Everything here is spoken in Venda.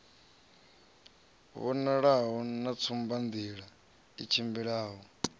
vhonalaho na tsumbanḓila i tshimbidzaho